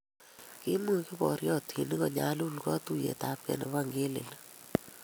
Kiimuch kiboriotinik konyalul katuiyeyabkei nebo ngelelik